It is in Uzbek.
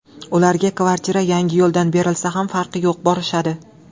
Ularga kvartira Yangiyo‘ldan berilsa ham farqi yo‘q borishadi.